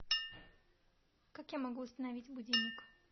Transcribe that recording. как я могу установить будильник